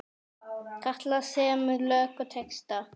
Katla semur lög og texta.